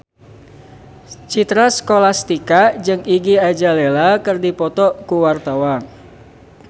Citra Scholastika jeung Iggy Azalea keur dipoto ku wartawan